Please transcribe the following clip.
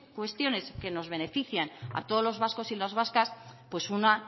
cuestiones que nos benefician a todos los vascos y las vascas pues una